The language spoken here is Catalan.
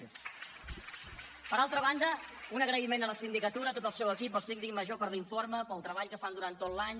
per altra banda un agraïment a la sindicatura a tot el seu equip al síndic major per l’informe pel treball que fan durant tot l’any